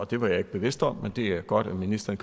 det var jeg ikke bevidst om men det er godt at ministeren